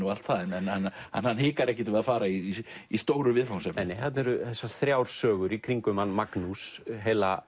allt það en hann hikar ekkert við að fara í í stóru viðfangsefnin þarna eru þessar þrjár sögur í kringum hann Magnús